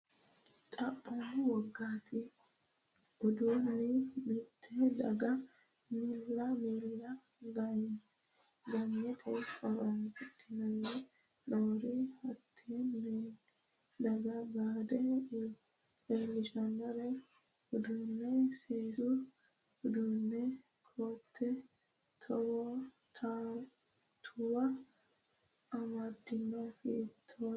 Xaphoomunni, wogate uduunni mitte daga miilla ganyite horoonsidhan nori hattenne daga bade leellishannore uddanna, seesu uduunnenna koat tuwa amadanno, hiittoonniiti?